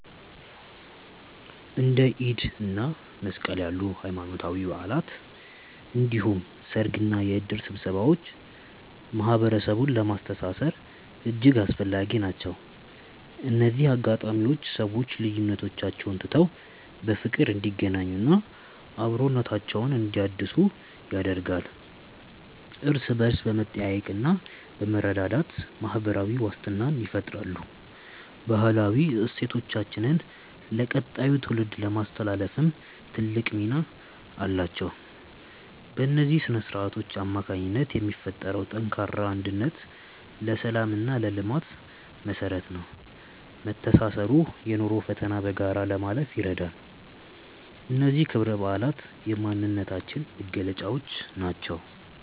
እንደ ኢድ እና መስቀል ያሉ ሃይማኖታዊ በዓላት እንዲሁም ሰርግና የእድር ስብሰባዎች ማህበረሰቡን ለማስተሳሰር እጅግ አስፈላጊ ናቸው። እነዚህ አጋጣሚዎች ሰዎች ልዩነቶቻቸውን ትተው በፍቅር እንዲገናኙና አብሮነታቸውን እንዲያድሱ ያደርጋሉ። እርስ በእርስ በመጠያየቅና በመረዳዳት ማህበራዊ ዋስትናን ይፈጥራሉ። ባህላዊ እሴቶቻችንን ለቀጣዩ ትውልድ ለማስተላለፍም ትልቅ ሚና አላቸው። በእነዚህ ስነ-ስርዓቶች አማካኝነት የሚፈጠረው ጠንካራ አንድነት ለሰላምና ለልማት መሰረት ነው። መተሳሰሩ የኑሮን ፈተና በጋራ ለማለፍ ይረዳል። እነዚህ ክብረ በዓላት የማንነታችን መገለጫዎች ናቸው።